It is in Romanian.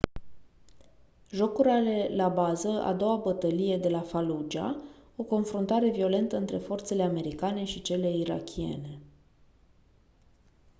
jocul are la bază a doua bătălie de la fallujah o confruntare violentă între forțele americane și cele irakiene